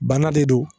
Bana de don